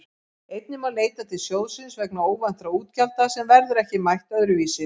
Einnig má leita til sjóðsins vegna óvæntra útgjalda sem verður ekki mætt öðru vísi.